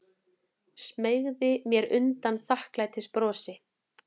Smeygi mér undan þakklætisbrosi.